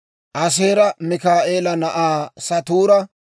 Aaseera Mikaa'eela na'aa Satuura;